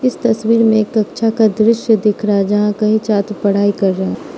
इस तस्वीर में एक कक्षा का दृश्य दिख रहा है जहां कई छात्र पढ़ाई कर रहे हैं।